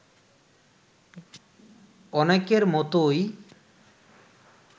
অনেকের মতোই